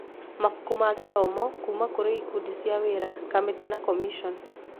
Mabuku ma gĩthomo kuuma kũrĩ ikundi cia wĩra, kamĩtĩ na commissions.